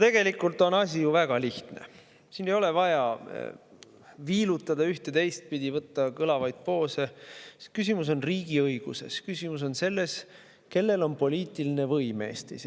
Tegelikult on asi ju väga lihtne, ei ole vaja viilutada ühte- või teistpidi, võtta kõlavaid poose – küsimus on riigiõiguses, küsimus on selles, kellel on poliitiline võim Eestis.